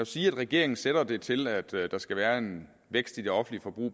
sige at regeringen sætter det til at der skal være en vækst i det offentlige forbrug